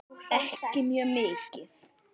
Ekki mjög mikið.